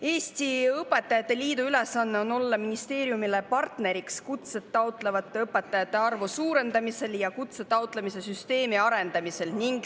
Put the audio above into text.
Eesti Õpetajate Liidu ülesanne on olla ministeeriumile partneriks kutset taotlevate õpetajate arvu suurendamisel ja kutse taotlemise süsteemi arendamisel.